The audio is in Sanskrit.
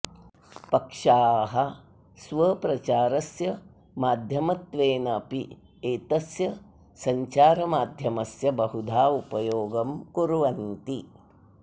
पक्षाः स्वप्रचारस्य माध्यमत्वेनापि एतस्य सञ्चारमाध्यमस्य बहुधा उपयोगं कुर्वन्ति